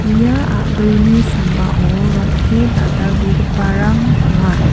ia a·brini sambao rong·te dal·dalbegiparang donga.